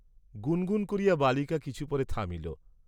গুণগুণ করিয়া বালিকা কিছু পরে থামিল।